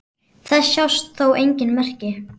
Þess sjást þó engin merki.